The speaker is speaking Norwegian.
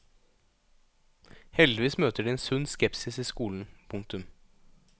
Heldigvis møter de en sunn skepsis i skolen. punktum